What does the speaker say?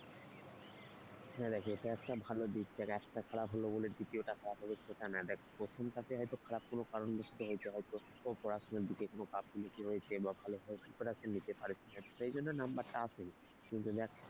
হ্যাঁ দেখ এটা একটা ভালো দিক যার একটা খারাপ হলো বলে দ্বিতীয় টাও খারাপ হবে সেটা না দেখ প্রথমটাতে হয়তো খারাপ কোনো কারণ বশত হয়েছে হয়তো কোন পড়াশোনার দিকে কোনো গাফিলতি হয়েছে বা পড়াশোনাটাও ঠিকমতো নিতে পারেনি। সেই জন্য নাম্বারটা আসে কিন্তু দেখ,